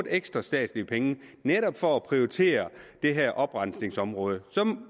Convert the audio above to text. lidt inden for det her område